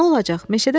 Nə olacaq?